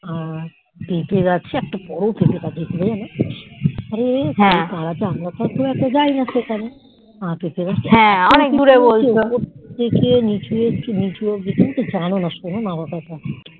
আর পেঁপে গাছে একটা বোরো পেঁপে গাছ ছিল জানতো মানে আমরা তো আর যায়না সেখানে আর পেঁপে গাছ তা ওপর থেকে নিচু হচ্ছে ওপর থেকে তুমিতো জানেননা শোনোনা আমি কথা